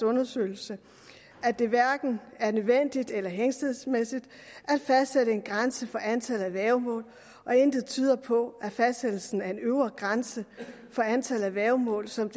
undersøgelse at det hverken er nødvendigt eller hensigtsmæssigt at fastsætte en grænse for antallet af værgemål og intet tyder på at fastsættelsen af en øvre grænse for antallet af værgemål som